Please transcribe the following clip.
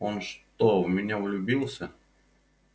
он что в меня влюбился